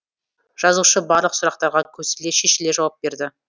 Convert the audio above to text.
жазушы барлық сұрақтарға көсіле шешіле жауап берді